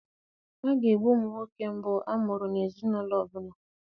A ga-egbu ụmụ nwoke mbụ a mụrụ n'ezinaụlọ ọbụla.